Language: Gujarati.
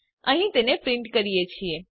અહીં તેને પ્રીંટ કરીએ છીએ